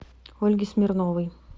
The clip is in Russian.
ольги смирновой